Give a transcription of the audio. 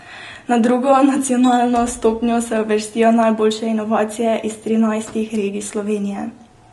Na drugo, nacionalno stopnjo se uvrstijo najboljše inovacije iz trinajstih regij Slovenije.